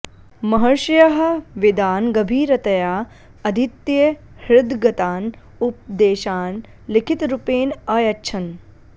महर्षयः वेदान् गभीरतया अधीत्य हृद्गतान् उपदेशान् लिखितरूपेण अयच्छन्